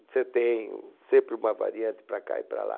Você tem sempre uma variante para cá e para lá.